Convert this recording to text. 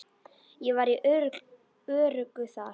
Ég var öruggur þar.